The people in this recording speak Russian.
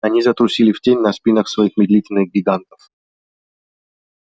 они затрусили в тень на спинах своих медлительных гигантов